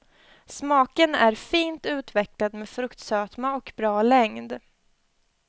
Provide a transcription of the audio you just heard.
Smaken är fint utvecklad med fruktsötma och bra längd.